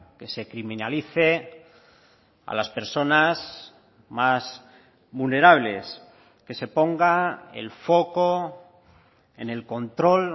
que se criminalice a las personas más vulnerables que se ponga el foco en el control